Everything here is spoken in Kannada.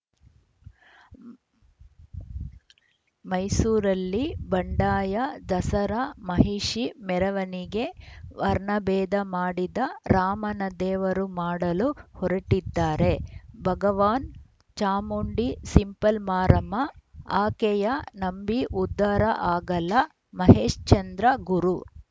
ಮೈಸೂರಲ್ಲಿ ಬಂಡಾಯ ದಸರಾ ಮಹಿಷಿ ಮೆರವಣಿಗೆ ವರ್ಣಭೇದ ಮಾಡಿದ ರಾಮನ ದೇವರು ಮಾಡಲು ಹೊರಟಿದ್ದಾರೆ ಭಗವಾನ್‌ ಚಾಮುಂಡಿ ಸಿಂಪಲ್‌ ಮಾರಮ್ಮ ಆಕೆಯ ನಂಬಿ ಉದ್ಧಾರ ಆಗಲ್ಲ ಮಹೇಶ್ಚಂದ್ರ ಗುರು